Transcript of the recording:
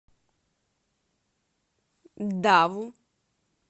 даву